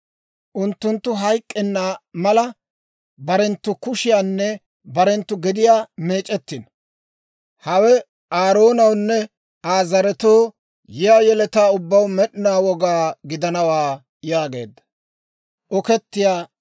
unttunttu hayk'k'enna mala, barenttu kushiyaanne barenttu gediyaa meec'ettino. Hawe Aaroonawunne Aa zaretoo, yiyaa yeletaa ubbaw med'inaw woga gidanawaa» yaageedda.